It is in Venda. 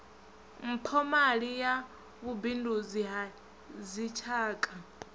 mphomali ya vhubindudzi ha dzitshaka